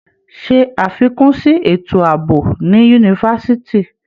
Ṣe àfikún sí ètò àbò ní yunifásitì.